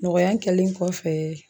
Nɔgɔya kɛlen kɔfɛ